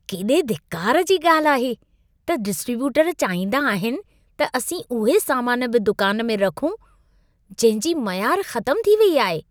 केॾे धिकार जी ॻाल्हि आहे त डिस्ट्रीब्यूटर चाहींदा आहिनि त असीं उहे सामान बि दुकान में रखूं जंहिंजी मयार ख़तमु थी वेई आहे।